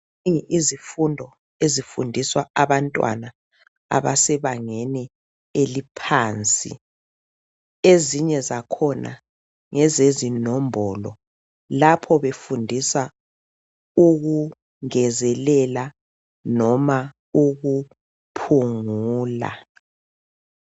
izifundo ezifundiswa abantwana abasebangeni eliphansi ezinye zakhona ngezezinombolo lapho befundisa ukungezelela noma ukuphungula